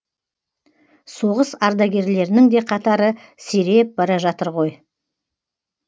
соғыс ардагерлерінің де қатары сиреп бара жатыр ғой